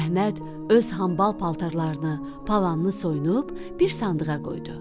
Əhməd öz hambal paltarlarını, palanını soyunub bir sandığa qoydu.